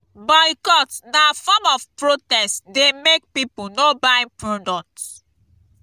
boycott na form of protest dey make people no buy product.